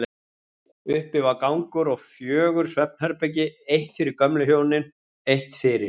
Uppi var gangur og fjögur svefnherbergi, eitt fyrir gömlu hjónin, eitt fyrir